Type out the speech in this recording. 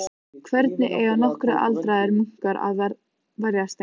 Hvernig eiga nokkrir aldraðir munkar að verjast þeim?